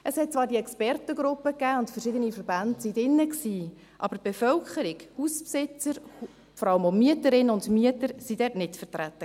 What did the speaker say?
Es gab zwar diese Expertengruppe, in der verschiedene Verbände Einsitz hatten, aber die Bevölkerung – Hausbesitzer und vor allem auch Mieterinnen und Mieter – war dort nicht vertreten.